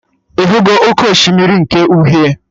Ịhụgo oké osimiri nke uhie?